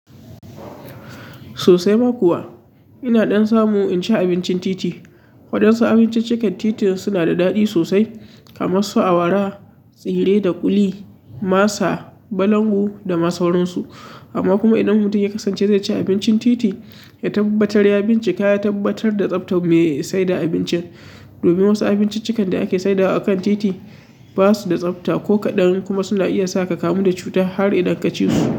Sosai ma kuwa. Ina ɗan samu in ci abincin titi. Waɗansu abinciccikan titin suna da daɗi sosai kamar su awara, tsire da ƙuli, masa, balangu da masuwaransu. Amma kuma idan mutum ya kasance zai ci abincin titi, ya tabbatar ya bincika ya tabbatar da tsaftar mai saida abincin. Domin wasu abinciccikan da ake saidawa a kan titi ba su da tsafta ko kaɗan kuma suna iya sa ka kamu da cuta har idan ka ci su.